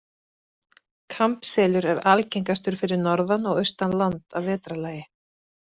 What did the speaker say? Kampselur er algengastur fyrir norðan og austan land að vetrarlagi.